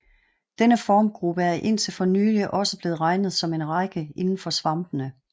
Denne formgruppe er indtil for nylig også blevet regnet som en række indenfor svampene